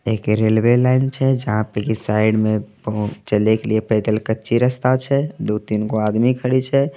एक railway line छय जहा पे के साईड मे चले के लिए पैदल कच्ची रस्ता छय दू तीन गो आदमी खडी छय।